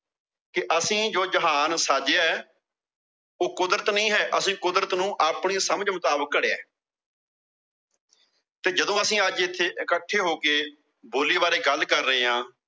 ਕਿ ਅਸੀਂ ਜੋ ਜਹਾਨ ਸਾਜਿਆ, ਉਹ ਕੁਦਰਤ ਨਹੀਂ ਐ। ਅਸੀਂ ਕੁਦਰਤ ਨੂੰ ਆਪਣੀ ਸਮਝ ਮੁਤਾਬਕ ਘੜਿਐ। ਤਾਂ ਜਦੋਂ ਇਥੇ ਅਸੀਂ ਅੱਜ ਇਕੱਠੇ ਹੋ ਕੇ ਬੋਲੀ ਬਾਰੇ ਗੱਲ ਕਰ ਰਹੇ ਆਂ